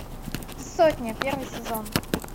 сотня первый сезон